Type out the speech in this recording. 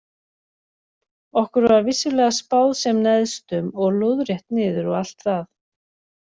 Okkur var vissulega spáð sem neðstum og lóðrétt niður og allt það.